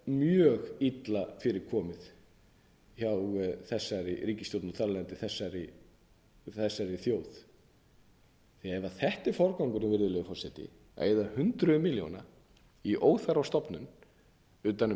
mjög illa fyrir komið hjá þeirri ríkisstjórn og þar af leiðandi þessari þjóð ef þetta er forgangurinn virðulegi forseti að eyða hundruðum milljóna í óþarfa stofnun utan um